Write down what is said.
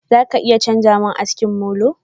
Za ka iya chanza mun aski molo?